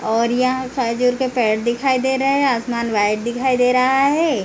और यहां खजूर का पेड़ दिखाई दे रहा है आसमान व्‍हाईट दिखाई दे रहा है।